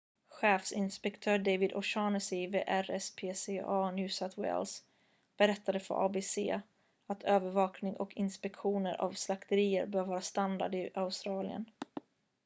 chefinspektör david o'shannessy vid rspca new south wales berättade för abc att övervakning och inspektioner av slakterier bör vara standard i australien